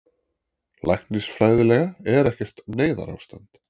Læknisfræðilega er ekkert neyðarástand